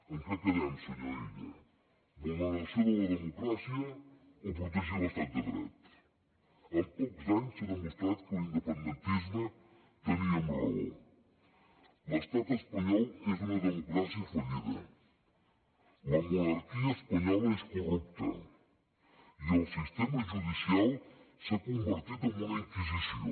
en què quedem senyor illa vulneració de la democràcia o protegir l’estat de dret en pocs anys s’ha demostrat que l’independentisme teníem raó l’estat espanyol és una democràcia fallida la monarquia espanyola és corrupta i el sistema judicial s’ha convertit en una inquisició